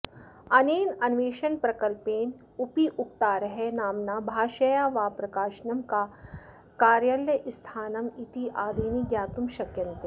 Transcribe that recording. अनेनान्वेषणप्रकल्पेन उपयोक्तारः नाम्ना भाषया वा प्रकाशनं कार्यालयस्थानमित्यादीनि ज्ञातुं शक्यन्ते